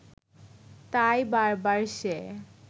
তাই বার বার সে